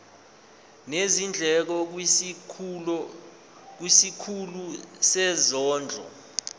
nezindleko kwisikhulu sezondlo